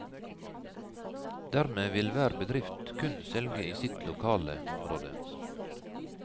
Dermed vil hver bedrift kun selge i sitt lokale område.